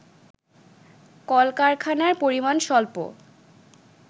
কলকারখানার পরিমাণ স্বল্প